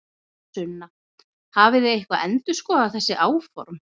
Sunna: Hafið þið eitthvað endurskoðað þessi áform?